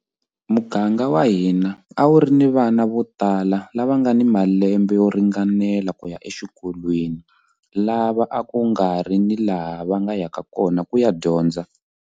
Muganga wa hina a wu ri ni vana votala lava nga ni malembe yo ringanela ku ya exikolweni lava a ku nga ri ni laha va nga yaka kona ku ya dyondza.